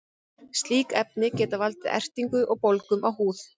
slík efni geta valdið ertingu og bólgum á húð